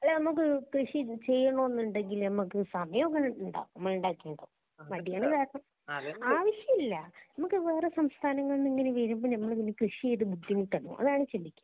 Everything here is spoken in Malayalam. അല്ലാ നമ്മക്ക് കൃഷി ചെയ്യണോന്നു ഉണ്ടെങ്കില് മ്മക്ക് സമയം ഇങ്ങനെ ഇണ്ടാകും മ്മള് ഇണ്ടാക്കിയ ഉണ്ടാകും മടിയാണ് കാരണം ആവശ്യമില്ല മ്മക്ക് വേറെ സംസ്ഥാനങ്ങളിന്നു ഇങ്ങനെ വരുമ്പോ ഞങ്ങളിങ്ങനെ കൃഷി ചെയ്തു ബുദ്ധിമുട്ടണോ അതാണ് ചിന്തിക്കാ